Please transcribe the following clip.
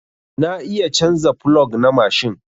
Na iya canza plog na mashin.